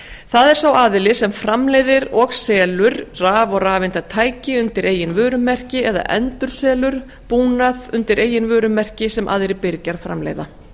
það er sá aðili sem framleiðir og selur raf og rafeindatæki undir eigin vörumerki eða endurselur búnað undir eigin vörumerki sem aðrir birgjar framleiða